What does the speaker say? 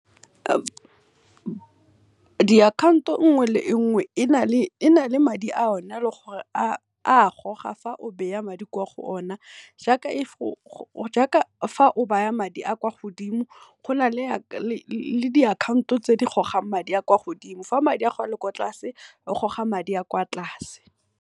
Diakhaonto nngwe le nngwe e na le madi a o ne a e leng gore e a goga fa madi ko go ona, jaaka fa o baya madi a kwa godimo go na le diakhaonto tse di gogang madi a kwa go dimo fa madi a gago ale kwa tlase e goga madi a kwa tlase.